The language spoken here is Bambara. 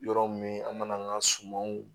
Yɔrɔ min an mana an ka sumanw